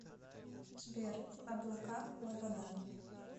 сбер облака лобода